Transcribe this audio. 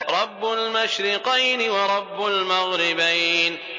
رَبُّ الْمَشْرِقَيْنِ وَرَبُّ الْمَغْرِبَيْنِ